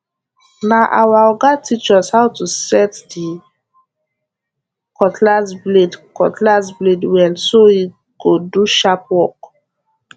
na our oga teach us how to set the cutlass blade cutlass blade well so e go do sharp work